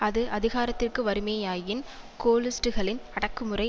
அது அதிகாரத்திற்கு வருமேயாயின் கோலிஸ்டுகளின் அடக்குமுறை